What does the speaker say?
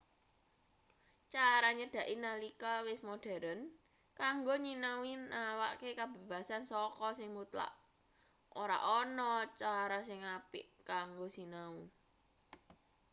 cara nyedhaki nalika wis moderen kanggo nyinau nawakke kabebasan saka sing mutlak ora ana cara sing apik kanggo sinau